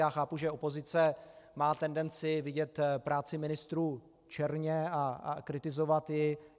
Já chápu, že opozice má tendenci vidět práci ministrů černě a kritizovat ji.